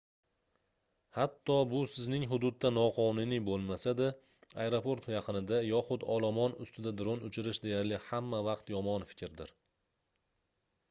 hatto bu sizning hududda noqonuniy boʻlmasa-da aeroport yaqinida yoxud olomon ustida dron uchirish deyarli hamma vaqt yomon fikrdir